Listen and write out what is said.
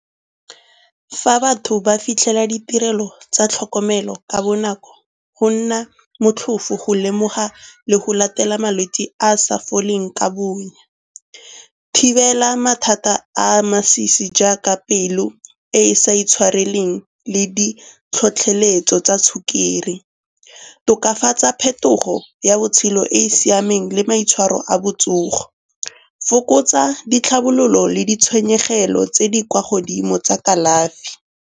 Fa batho ba fitlhela ditirelo tsa tlhokomelo ka bonako go nna motlhofo go lemoga le go latela malwetse a a sa foleng ka bonya. Thibela mathata a masisi jaaka pelo e e sa intshwareleng le di tlhotlheletso tsa sukiri. Tokafatsa phetogo ya botshelo e e siameng le maitshwaro a botsogo. Fokotsa ditlhabelo le ditshenyegelo tse di kwa godimo tsa kalafi.